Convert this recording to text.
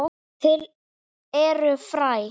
Til eru fræ.